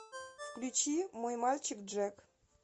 включи мой мальчик джек